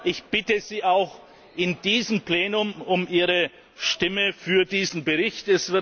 Ich bitte Sie auch in diesem Plenum um Ihre Stimme für diesen Bericht.